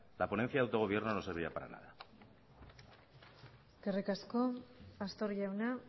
la ponencia de autogobierno no serviría para nada eskerrik asko pastor jauna